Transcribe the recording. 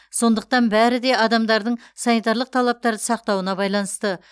сондықтан бәрі де адамдардың санитарлық талаптарды сақтауына байланысты